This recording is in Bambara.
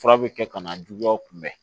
Fura bɛ kɛ ka na juguyaw kunbɛn